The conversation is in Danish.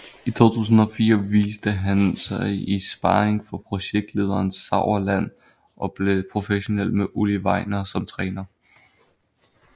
I 2004 viste han sig i sparring for projektlederen Sauerland og blev professionel med Ulli Wegner som træner